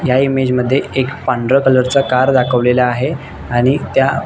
या इमेज मध्ये एक पांढरा कलर च कार दाखवलेल आहे. आणि त्या--